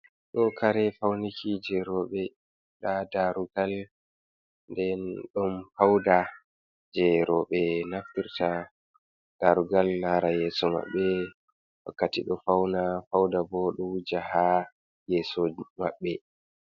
Ɗo kare fauniki je roɓe ɗa darugal den don fauda je roɓe naftirta ɗa rugal lara yeso mabbe wakkati do fauna fauda ɓo ɗo wuja ha yeso mabbe.